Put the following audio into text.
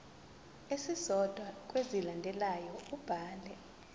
esisodwa kwezilandelayo ubhale